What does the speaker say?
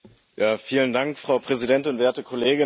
Frau Präsidentin, werte Kolleginnen und Kollegen!